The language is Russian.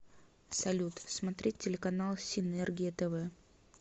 салют смотреть телеканал синергия тв